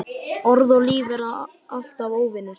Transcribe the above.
Orð og líf verða alltaf óvinir.